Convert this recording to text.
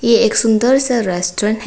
ये एक सुंदर सा रेस्टोरेंट है।